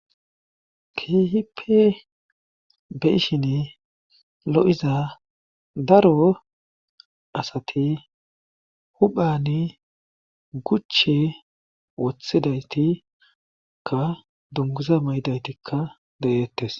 keehipe beishini lo'iza daro asati huphani guche wothidaytikka dungguza maydaytikka deyettes.